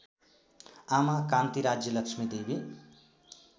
आमा कान्ति राज्यलक्ष्मीदेवी